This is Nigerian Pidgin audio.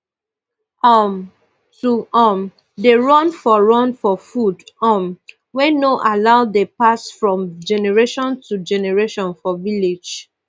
um to um dey run for run for food um wey no allow dey pass from generations to generation for village